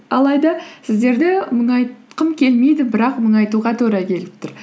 алайда сіздерді мұңайтқым келмейді бірақ мұңайтуға тура келіп тұр